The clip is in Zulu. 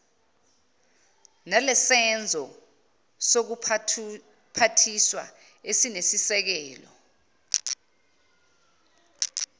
nelesenzo sezobuphathiswa esinesisekelo